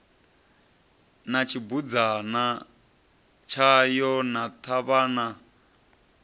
na tshibudzana tshayo na ṱhavhana